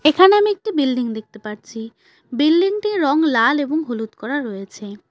এখানে আমি একটি বিল্ডিং দেখতে পারছি বিল্ডিং -টির রং লাল এবং হলুদ করা রয়েছে।